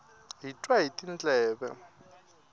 hi twa hi tindleve